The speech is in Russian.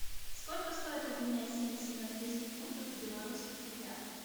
сколько стоит обменять семьдесят английских фунтов в белорусских рублях